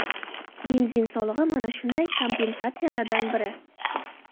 Benzin solig‘i – mana shunday kompensatsiyalardan biri.